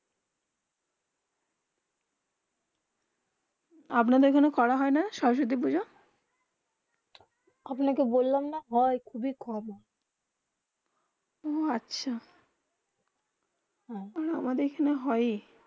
আপনাদের এখানে করা হয়ে না সরস্বতী পুজো আপনা কে বললাম না হয়ে খুব কম হয়ে উহঃ আচ্ছা আমাদের এখানে হয়ে